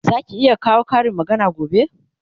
Zaki iya kawo Karin magana gobe?